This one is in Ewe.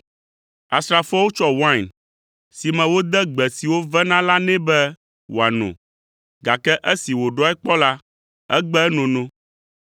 Asrafoawo tsɔ wain si me wode gbe siwo vena la nɛ be wòano, gake esi wòɖɔe kpɔ la, egbe enono.